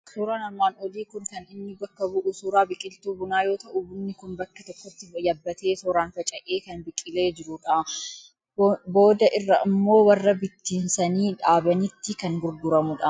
Suuraan armaan olii kun kan inni bakka bu'u, suuraa biqiltuu bunaa yoo ta'u, bunni kun bakka tokkotti yabbatee, tooraan faca'ee, kan biqileerudha. Booda irra immoo warra bittimsanii dhaabanitti kan gurguramu dha.